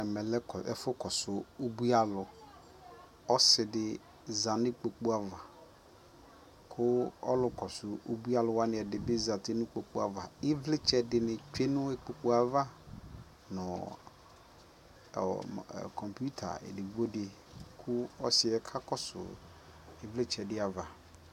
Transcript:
ɛmɛ lɛ ɛƒʋ kɔsʋ ʋbʋi alʋ, ɔsiidi zanʋ ikpɔkʋ aɣa kʋ ɔlʋ kɔsʋ ʋbʋi alʋ wani ɛdibi zanʋ ikpɔkʋ aɣa ivlitsɛ dini twɛnʋ ikpɔkʋɛ aɣa nʋ computer ɛdigbɔ di kʋ ɔsiiɛ ka kɔsʋ ivlitsɛ di aɣa